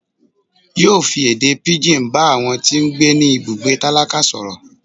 yóò fí èdè pigín bá àwọn tí gbé ní ibùgbé tálákà soró